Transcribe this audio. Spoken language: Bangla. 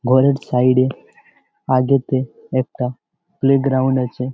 ঘরের সাইড -এ আগেতে একটা প্লেগ্রাউন্ড আছে ।